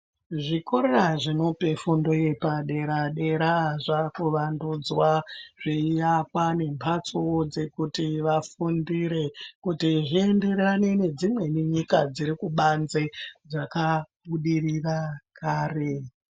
Zvikora zvinope fundo yepa dera dera zvaku wandudzwa zvei yakwa ne mbatso dzekuti vafundire kuti zvi enderane nedzimweni nyika dziri kubanze dzaka budirira kare.